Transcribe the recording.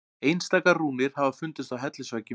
Einstaka rúnir hafa fundist á hellisveggjum.